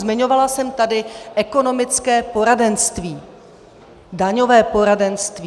Zmiňovala jsem tady ekonomické poradenství, daňové poradenství.